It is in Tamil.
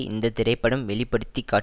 இந்த திரைப்படம் வெளி படுத்தி காட்